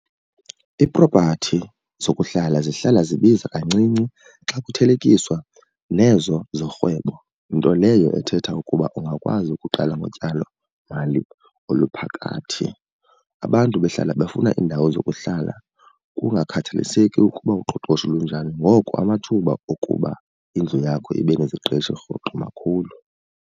Iipropathi zokuhlala zihlala zibiza kancinci xa kuthelekiswa nezo zorhwebo nto leyo ethetha ukuba ungakwazi ukuqala ngotyalomali oluphakathi. Abantu behlala befuna iindawo zokuhlala kungakhathaliseki ukuba uqoqosho lunjani. Ngoko amathuba okuba indlu yakho ibe neziqeshi rhoqo makhulu.